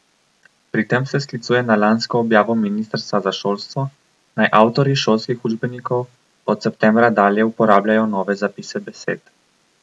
Pri tem se sklicuje na lansko objavo ministrstva za šolstvo, naj avtorji šolskih učbenikov od septembra dalje uporabljajo nove zapise besed.